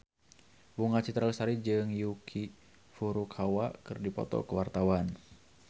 Bunga Citra Lestari jeung Yuki Furukawa keur dipoto ku wartawan